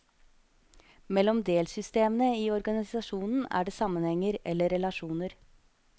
Mellom delsystemene i organisasjonen er det sammenhenger, eller relasjoner.